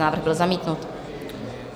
Návrh byl zamítnut.